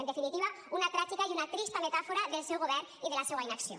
en definitiva una tràgica i una trista metàfora del seu govern i de la seua inacció